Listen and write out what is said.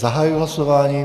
Zahajuji hlasování.